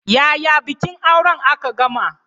Yaya bikin auren aka gama?